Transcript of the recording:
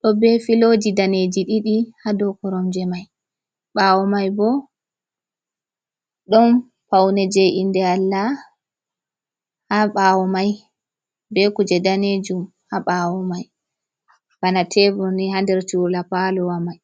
do ɓe filoji daneji ɗiɗi ha dou koromje mai bawo mai bo ɗon paune je inde Allah ha bawo mai be kuje danejum ha bawo mai bana teburni ha nder chura palowa mai.